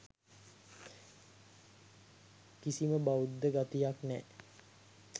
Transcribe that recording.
කිසිම බෞද්ධ ගතියක් නෑ